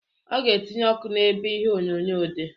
Ọ ga etinye ọkụ n'ebe ihe onyonyo dị.